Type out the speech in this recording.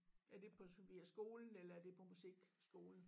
Er det på så via skolen eller er det på musikskolen?